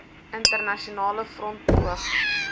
internasionale front poog